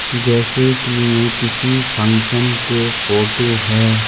जैसे कि यह किसी फंक्शन के फोटो है।